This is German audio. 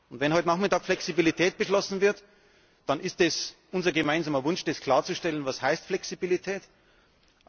Wenn heute Nachmittag Flexibilität beschlossen wird, dann ist es unser gemeinsamer Wunsch klarzustellen, was Flexibilität heißt.